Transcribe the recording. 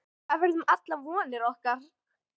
Hvað verður um allar vonir okkar?